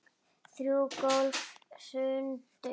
Þrjú gólf hrundu.